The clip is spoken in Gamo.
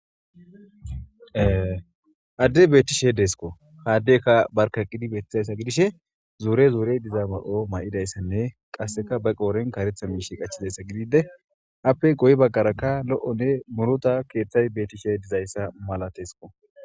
Adde beetishe deesko haaddekka barkaqqidi beethizayssa gidishe zuure zuurey diza mal7o may7idayssanne qasseka ba qooren karetha miishi qachizayssa gidide appe goy baggaraka lo7onne murota keeththay beetishe dizayssa malateesko.